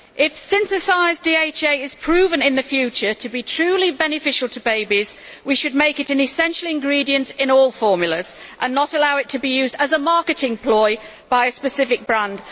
If, in the future, synthesised DHA is proven to be truly beneficial to babies, we should make it an essential ingredient in all formulas, and not allow it to be used as a marketing ploy by a specific brand.